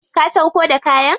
Ka sauƙo da kayan.